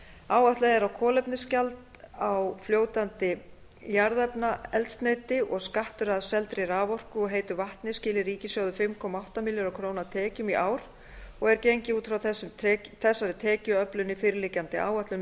áætlað er að kolefnisgjald á fljótandi jarðefnaeldsneyti og skattur af seldri raforku og heitu vatni skili ríkissjóði fimm komma átta milljarða króna tekjum í ár og er gengið út frá þessari tekjuöflun í fyrirliggjandi áætlun